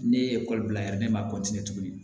Ne ye ekɔli bila yɛrɛ ne ma tuguni